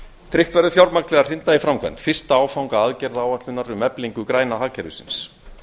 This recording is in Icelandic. tryggt verður fjármagn til að hrinda í framkvæmd fyrsta áfanga aðgerðaáætlunar um eflingu græna hagkerfisins